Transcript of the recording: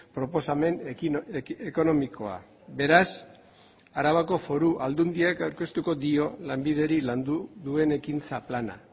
proposamen ekonomikoa beraz arabako foru aldundiak aurkeztuko dio lanbideri landu duen ekintza plana